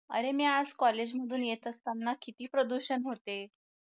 अरे मी आज college मधून येत असताना किती प्रदूषण होते